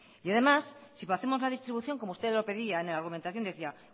y además si hacemos la distribución como usted lo pedía en la argumentación decía